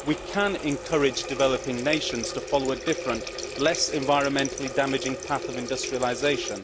We can encourage developing nations to follow a different, less environmentally damaging path of industrialisation.